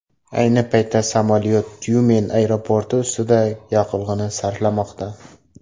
Ayni paytda samolyot Tyumen aeroporti ustida yoqilg‘ini sarflamoqda.